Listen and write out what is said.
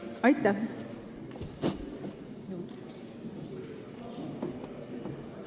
Aitäh!